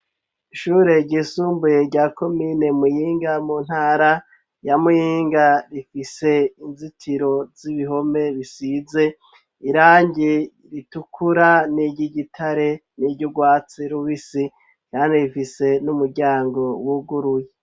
Ishure ryisumbuye, rya komine Muyinga, mu ntara ya Muyinga; rifise inzitiro z'ibihome, bisize irangi ritukura, n'iry'igitare, n'iry'urwatsi rubisi, kandi rifise n'umuryango, wuguruye.